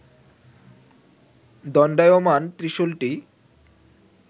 দণ্ডায়মান ত্রিশুলটি